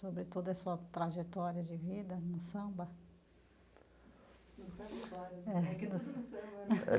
Sobre toda a sua trajetória de vida no samba?